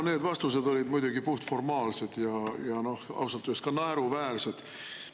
No need vastused olid muidugi puhtformaalsed ja ausalt öeldes ka naeruväärsed.